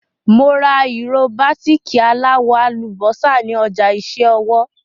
Mo ra ìró bàtíìkì aláwọ̀ àlùbọ́sà ní ọjà iṣẹ́ ọwọ́.